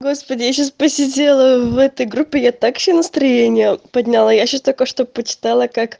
господи я сейчас посидела в этой группе я так себе настроение подняла я сейчас только что почитала как